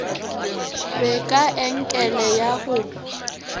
be ka enkele ya go